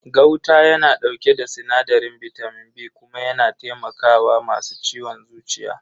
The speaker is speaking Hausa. Gauta yana dauke da sinadarin bitamin B kuma yana taimaka wa masu ciwon zuciya.